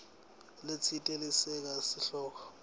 letsite lesekela sihloko